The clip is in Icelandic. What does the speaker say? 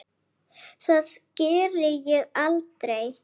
Það geri ég aldrei